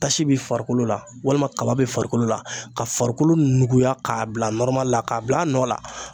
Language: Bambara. Tasi bi farikolo la walima kaba bi farikolo la ka farikolo nuguya k'a bila nɔrɔmali la k'a bila a nɔ la